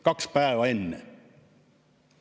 Kaks päeva enne.